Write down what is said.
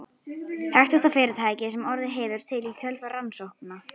Þekktasta fyrirtækið sem orðið hefur til í kjölfar rannsókna